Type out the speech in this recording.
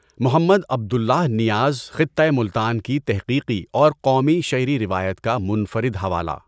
محمد Abdullah Niaz خطۂ ملتان کی تحقیقی اور قومی شعری روایت کا منفرد حوالہ